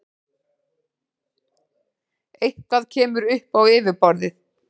Eitthvað kemur upp á yfirborðið